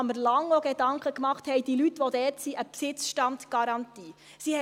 Ich habe mir auch lange Gedanken gemacht, ob die Leute, die dort sind, eine Besitzstandgarantie haben.